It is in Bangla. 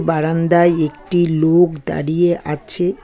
বারান্দায় একটি লোক দাঁড়িয়ে আছে।